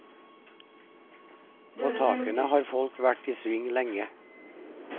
På takene har folk vært i sving lenge.